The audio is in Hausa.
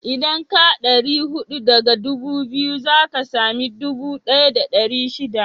Idan ka ɗari huɗu daga ɗubu biyu, za ka sami ɗubu ɗaya da ɗari shida